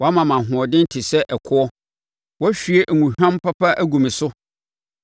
Woama me ahoɔden te sɛ ɛkoɔ; woahwie ngohwam papa agu me so.